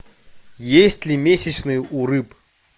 есть ли месячные у рыб